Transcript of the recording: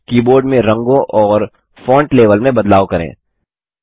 keyboard में रंगों और फॉन्ट लेवल में बदलाव करें